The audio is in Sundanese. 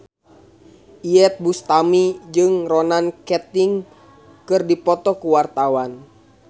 Iyeth Bustami jeung Ronan Keating keur dipoto ku wartawan